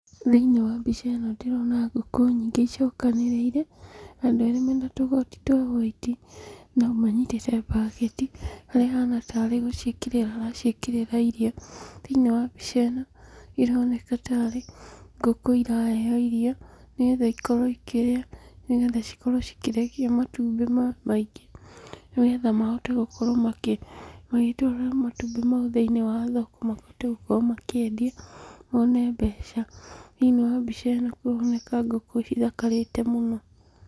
Thĩiniĩ wa mbica ĩno ndĩrona ngũkũ nyingĩ icokanĩrĩire, andũ eerĩ mena tũgoti twa whaiti, na ũmwe anyitĩte mbaketi haria ahaana tarĩ gũciĩkĩrĩra araciĩkĩrĩra irio. Thĩiniĩ wa mbica ĩno ĩroneka taarĩ ngũkũ iraheo irio, nĩ geetha ikorwo ikĩrĩa, nĩ geetha cikorowo cikĩrekia matumbĩ maingĩ ni geetha mahote gũkorwo makĩ, magitwara matumbĩ mau thiĩni wa thoko mahote gukorwo makĩendio moone mbeca. Thĩiniĩ wa mbica ĩno kũroneka ngũkũ ithakarĩte mũno.